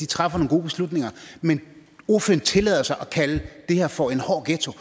træffer nogle gode beslutninger men ordføreren tillader sig at kalde det her for en hård ghetto